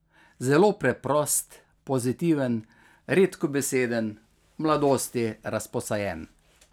Zelo preprost, pozitiven, redkobeseden, v mladosti razposajen ...